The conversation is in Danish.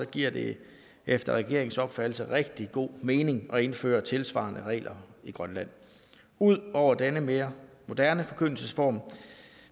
giver det efter regeringens opfattelse rigtig god mening at indføre tilsvarende regler i grønland ud over denne mere moderne forkyndelsesform